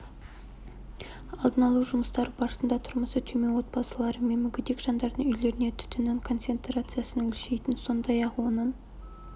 алдын алу жұмыстары барысында тұрмысы төмен отбасылары мен мүгедек жандардың үйлеріне түтіннің концентрациясын өлшейтін сондай-ақ оның